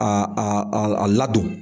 A a a ladon.